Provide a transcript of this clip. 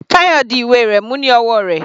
Tayo di ìwé rẹ̀ mú ní ọwọ́ rẹ̀.